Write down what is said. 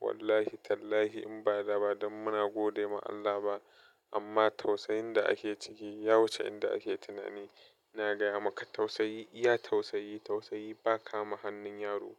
Wallahi Tallahi in ba laba dan muna gode ma Allah ba amma tausayin da ake ciki ya wuce inda ake tunani. Ina gaya maka tausayi iya tausayi, tausayi ba kama hannun yaro.